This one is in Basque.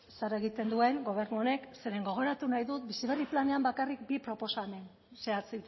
zer egiten duen gobernu honek zeren gogoratu nahi dut bizi berri planean bakarrik bi proposamen zehatz